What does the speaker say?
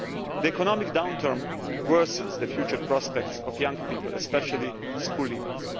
The economic downturn worsens the future prospects of young people, especially school leavers.